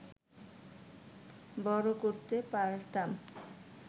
বড় করতে পারতাম